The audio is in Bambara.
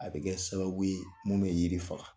A bɛ kɛ sababu ye mun bɛ yiri faga;